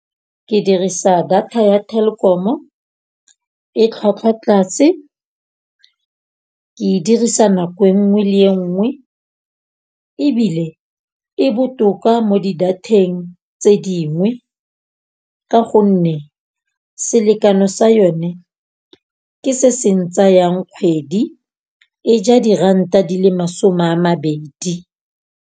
Ke dirisa data ya Telkom-o e tlhwatlhwa tlase. Ke dirisa nako e nngwe le nngwe ebile e botoka mo di datheng tse dingwe. Ka gonne selekano sa yone ke se seng tsayang kgwedi. E ja diranta di le masome a mabedi.